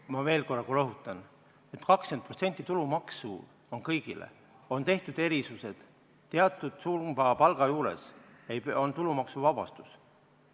Ma veel korra rõhutan, et 20% tulumaksu on kõigile, on tehtud erisused, teatud palgasumma juures on tulumaksuvabastus.